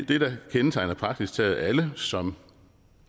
det der kendetegner praktisk taget alle som